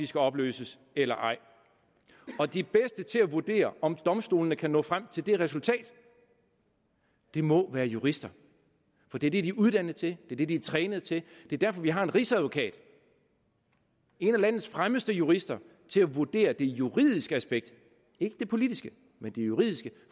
skal opløses eller ej de bedste til at vurdere om domstolene kan nå frem til det resultat må være jurister for det er det de er uddannet til og det er det de er trænet til det er derfor vi har en rigsadvokat en af landets fremmeste jurister til at vurdere det juridiske aspekt ikke det politiske men det juridiske